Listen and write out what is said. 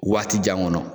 Waati jan kɔnɔ